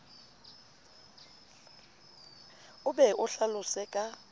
o be o hlalose ka